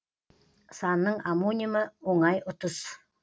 санның омонимі оңай ұтыс